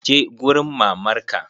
Je gurin mamar ka!